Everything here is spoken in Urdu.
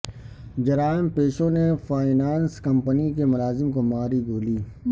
جرائم پیشوں نے فائنانس کمپنی کے ملازم کو ماری گولی